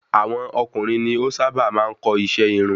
Àwọn ọkùnrin ni o sá bà maá n kọ́ iṣẹ irun